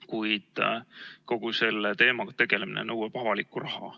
Kuid kogu selle teemaga tegelemine nõuab avalikku raha.